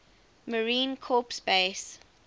marine corps base